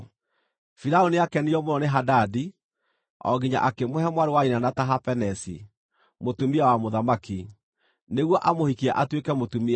Firaũni nĩakenirio mũno nĩ Hadadi o nginya akĩmũhe mwarĩ wa nyina na Tahapenesi, mũtumia wa mũthamaki, nĩguo amũhikie atuĩke mũtumia wake.